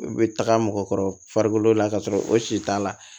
U bɛ taga mɔgɔkɔrɔ la ka sɔrɔ o si t'a la